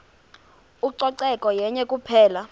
ucoceko yenye kuphela